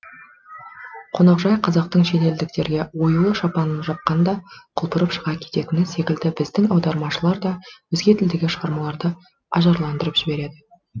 қонақжай қазақтың шетелдіктерге оюлы шапанын жапқанда құлпырып шыға кететіні секілді біздің аудармашылар да өзге тілдегі шығармаларды ажарландырып жібереді